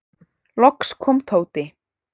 Loks kom Tóti.